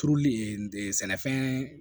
Turuli sɛnɛfɛn